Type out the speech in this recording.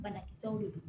Banakisɛw de don